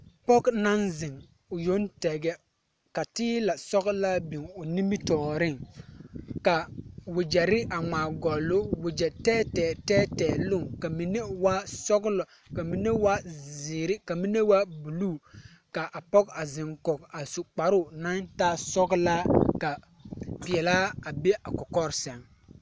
Pɔge naŋ zeŋ o yoŋ tɛgɛ ka teelɛsɔglaa biŋ o nimitɔɔreŋ ka wagyɛre a ŋmaagɔle o wagyɛtɛɛtɛɛ tɛɛtɛɛ loŋ ka mine waa sɔglɔ ka mine waa zeere ka mine waa bulu ka a pɔge a zeŋ kɔge a su kparoo naŋ taa sɔglaa ka peɛlaa a be a kɔkɔre seŋ.